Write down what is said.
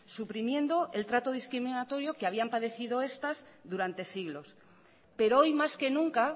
suprimiendo el trato discriminatorio que habían padecido estas durante siglos pero hoy más que nunca